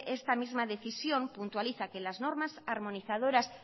esta misma decisión puntualiza que las normas armonizadoras